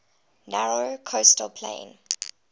narrow coastal plain